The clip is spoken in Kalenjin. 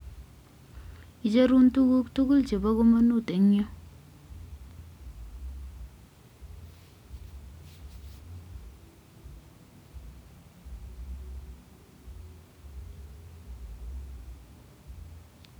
icherun tukuk tugul chebo komonut en yu